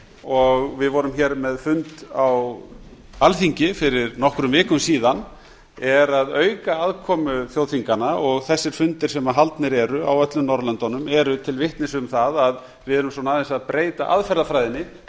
og við vorum á með fund á alþingi fyrir nokkrum vikum síðan er að auka aðkomu þjóðþinganna og þessir fundir sem haldnir eru á öllum norðurlöndunum eru til vitnis um það a við erum svona aðeins að breyta aðferðafræðinni til